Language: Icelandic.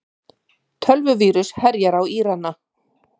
Tölvuvírus herjar á Írana